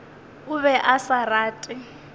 o be a sa rate